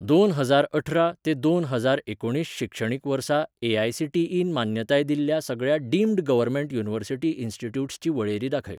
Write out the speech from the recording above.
दोन हजार अठरा ते दोन हजार एकुणीस शिक्षणीक वर्सा ए.आय.सी.टी.ई.न मान्यताय दिल्ल्या सगळ्या डीम्ड गव्हर्मेंट युनिव्हर्सिटी इन्स्टिट्यूट्स ची वळेरी दाखय.